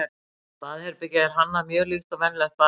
baðherbergið er hannað mjög líkt og venjulegt baðherbergi